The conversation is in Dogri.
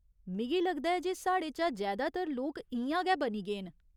मिगी लगदा ऐ जे साढ़े चा जैदातर लोक इ'यां गै बनी गे न।